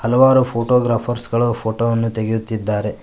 ಹಲವಾರು ಫೋಟೋಗ್ರಾಫರ್ಸ್ ಗಳು ಫೋಟೋ ವನ್ನು ತೆಗೆಯುತ್ತಿದ್ದಾರೆ.